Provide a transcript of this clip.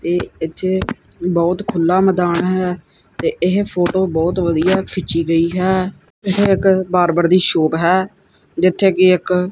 ਤੇ ਇਥੇ ਬਹੁਤ ਖੁੱਲਾ ਮੈਦਾਨ ਹੈ ਤੇ ਇਹ ਫੋਟੋ ਬਹੁਤ ਵਧੀਆ ਖਿੱਚੀ ਗਈ ਹੈ ਇਧਰ ਇੱਕ ਬਾਰਬਰ ਦੀ ਸ਼ੋਪ ਹੈ ਜਿੱਥੇ ਕਿ ਇੱਕ--